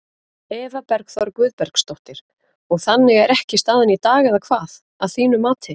Eva Bergþóra Guðbergsdóttir: Og þannig er ekki staðan í dag eða hvað, að þínu mati?